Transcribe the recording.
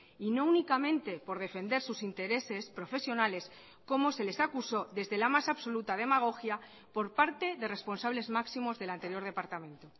y no únicamente por defender sus intereses profesionales como se les acusó desde la más absoluta demagogia por parte de responsables máximos del anterior departamento